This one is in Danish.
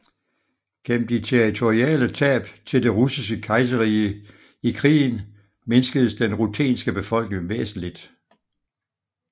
Gennem de territoriale tab til Det Russiske Kejserrige i krigen mindskedes den ruthenske befolkning væsentligt